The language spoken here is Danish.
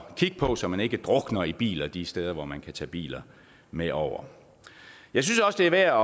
kigge på så man ikke drukner i biler de steder hvor man kan tage biler med over jeg synes også det er værd